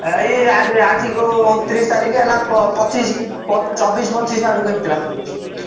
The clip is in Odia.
ଏଇ ଆଜିକୁ ଅଣତିରିଶ ତାରିଖ ହେଲା ଚବିଶ ପଚିଶ ଆଡକୁ ହେଇଥିଲା।